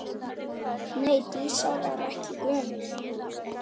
Nei, Dísa var ekki gömul.